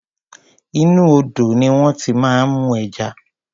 Inú odò ní wón ti máa ń mú ẹja.